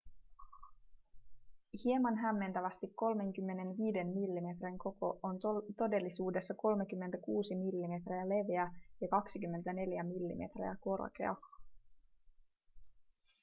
hieman hämmentävästi 35 millimetrin koko on todellisuudessa 36 mm leveä ja 24 mm korkea